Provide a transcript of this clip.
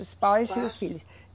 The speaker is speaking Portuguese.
Os pais e os filhos.